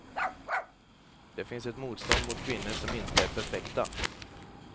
Det finns ett motstånd mot kvinnor som inte är perfekta.